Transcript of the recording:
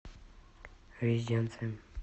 резиденция